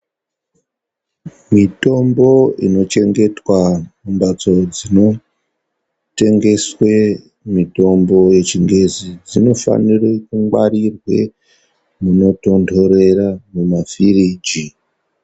Mitombo inochengetwa mumbatso inotengeswe mutombo yechingezi dzinofanirwa kungwarirwe munotonhorera mumafiriji.